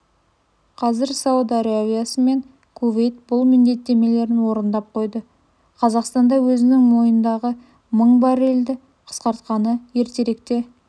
қазір сауд арабиясы мен кувейт бұл міндеттемелерін орындап қойды қазақстанда өзінің мойнындағы мың баррельді қысқартқаны ертеректе